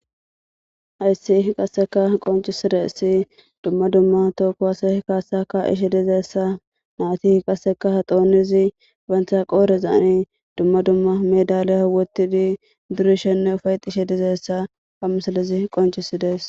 hayssi qasseka qoncisidessi dumma dumma tookko hase kaassaka ishi dizeessa naati qasseka ha doonizi bantha qoorezaani dumma dumma medaley howotidi durishenne ufayxishe dizeessa famsalizi qoncisidees